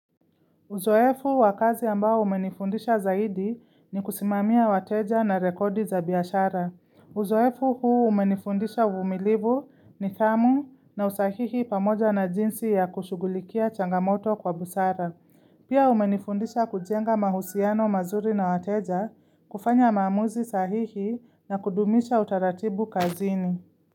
Uzoefu wakazi ambao umenifundisha zaidi ni kusimamia wateja na rekodi za biashara. Uzoefu huu umenifundisha uvimilivu nidhamu na usahihi pamoja na jinsi ya kushugulikia changamoto kwa busara. Pia umenifundisha kujenga mahusiano mazuri na wateja kufanya maamuzi sahihi na kudumisha utaratibu kazini.